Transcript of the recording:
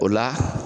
O la